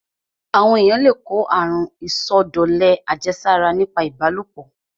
Àwọn èyàn le kó àrun ìsọdọ̀lẹ àjẹsára nípa ìbálòpọ̀.